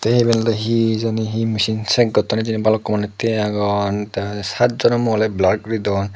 tay ibane olay he jani he misine chak goton balukun manus tye aagon te satjonoray muoni blur gori done.